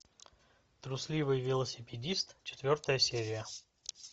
трусливый велосипедист четвертая серия